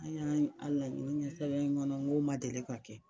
An y'an a laɲini kɛ sɛbɛn in kɔnɔ n ko ma deli ka kɛ.